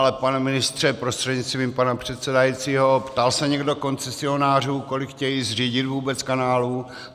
Ale pane ministře prostřednictvím pana předsedajícího, ptal se někdo koncesionářů, kolik chtějí zřídit vůbec kanálů?